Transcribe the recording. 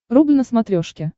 рубль на смотрешке